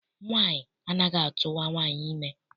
Nwaanyị anaghị atụwa nwaanyị ime.